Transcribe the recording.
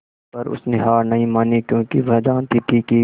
पर उसने हार नहीं मानी क्योंकि वह जानती थी कि